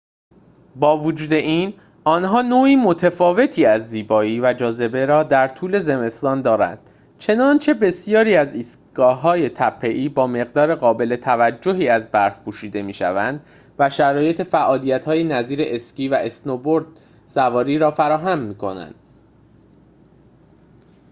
با وجود این آنها نوع متفاوتی از زیبایی و جاذبه را در طول زمستان دارند چنانچه بسیاری از ایستگاه‌های تپه‌ای با مقدار قابل توجهی از برف پوشیده می‌شوند و شرایط فعالیت‌هایی نظیر اسکی و اسنوبوردسواری را فراهم می‌کنند